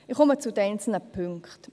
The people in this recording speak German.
Ich komme zu den einzelnen Punkten: